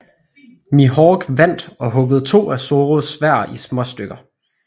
Mihawk vandt og huggede to af Zorros sværd i småstykker